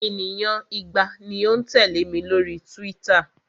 Ènìyàn igba ni ó ń tẹ̀lẹ́ mi lórí Twitter.